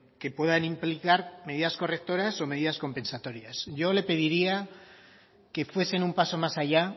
que puedan implicar medidas correctoras o medidas compensatorias yo le pediría que fuesen un paso más allá